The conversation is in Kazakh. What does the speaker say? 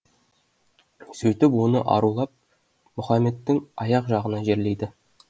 сөйтіп оны арулап мұхаммедтің аяқ жағына жерлейді